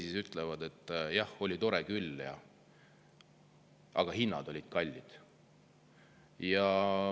Nad ütlevad, et jah, oli tore küll, aga hinnad olid kallid.